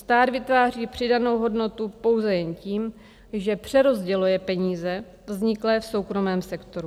Stát vytváří přidanou hodnotu pouze jen tím, že přerozděluje peníze vzniklé v soukromém sektoru.